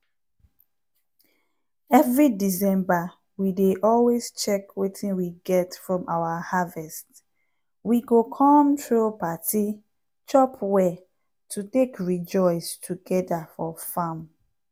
every december we dey always check wetin we get from our harvest. we go come throw party chop well to take rejoice togeda for farm.